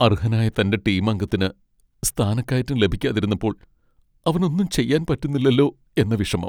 അർഹനായ തന്റെ ടീം അംഗത്തിന് സ്ഥാനക്കയറ്റം ലഭിക്കാതിരുന്നപ്പോൾ അവനൊന്നും ചെയ്യാൻ പറ്റുന്നില്ലലോ എന്ന വിഷമം.